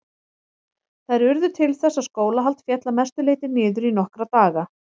Þær urðu til þess að skólahald féll að mestu leyti niður í nokkra daga.